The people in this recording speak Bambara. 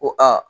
Ko aa